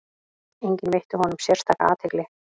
Enginn veitti honum sérstaka athygli.